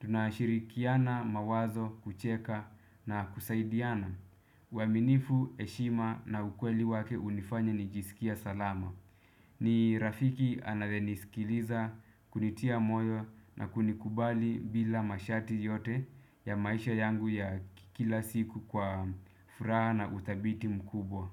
Tunashirikiana mawazo, kucheka na kusaidiana uaminifu, heshima na ukweli wake hunifanya nijisikie salama. Ni rafiki anayenisikiliza kunitia moyo na kunikubali bila masharti yote ya maisha yangu ya kila siku kwa furaha na utabiti mkubwa.